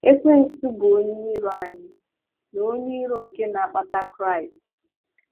Ekwensu bụ onye iro anyị na onye iro nke na-akpata Kraịst.